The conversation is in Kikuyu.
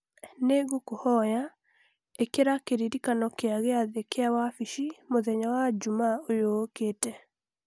Nĩ ngũkũhoya ĩkira kĩririkanio kia gĩathĩ kĩa wabici mũthenya wa njuuma ũyũ ũkĩte